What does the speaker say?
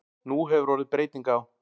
Nú hefur orðið breyting á.